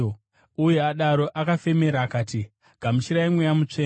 Uye adaro akavafemera akati, “Gamuchirai Mweya Mutsvene.